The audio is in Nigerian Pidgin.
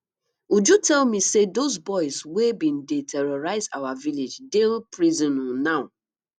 uju tell me say those boys wey bin dey terrorize our village dey prison um now